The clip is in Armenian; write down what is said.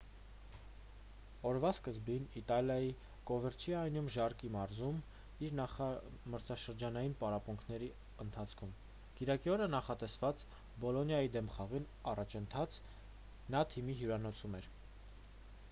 օրվա սկզբին իտալիայի կովերչիանոյում ժարկը մարզվում էր նախամրցաշրջանային պարապմունքների ընթացքում կիրակի օրը նախատեսված բոլոնիայի դեմ խաղին ընդառաջ նա թիմի հյուրանոցում էր